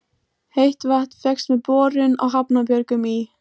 Heitt vatn fékkst með borun á Hrafnabjörgum í